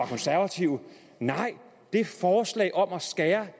konservative nej forslaget om at skære